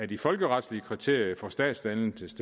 de folkeretlige kriterier for statsdannelse til